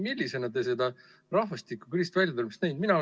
Millisena te seda rahvastikukriisist väljatulemist näete?